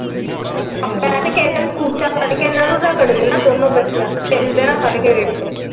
ਮੈ ਤੇ ਕਿਸੇ ਦਿਨ ਕੂਚਾ ਫੜ੍ਹ ਕੇ ਰਗੜ ਦੇਣਾ ਇਹਨਾਂ ਦੋਨੋ ਬੱਚਿਆਂ ਨੂੰ ਛਿੱਲ ਦੇਣਾ ਫੜ੍ਹ ਕੇ ਵੇਖਿਓ ।